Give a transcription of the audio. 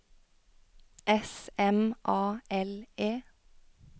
S M A L E